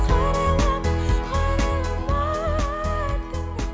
қарайлама қарайлама артыңа